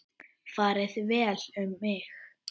Farið vel um mig?